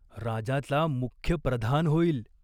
राजाचा मुख्य प्रधान होईल.